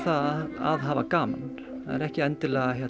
að hafa gaman það er ekki endilega